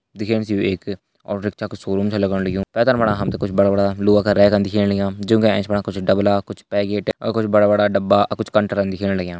दिखेण सी यु एक ऑटोरिक्शा कु शोरूम छ लगण लग्यु पैथर फणा हमथे कुछ बड़ा बड़ा लुआ का रैकन दिखेण लग्या जूका एैच फणा कुछ डबला कुछ पैकेट अ कुछ बड़ा बड़ा डब्बा आ कुछ कंटरन दिखेण लग्यां।